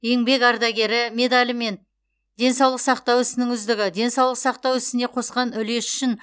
еңбек ардагері медалі мен денсаулық сақтау ісінің үздігі денсаулық сақтау ісіне қосқан үлесі үшін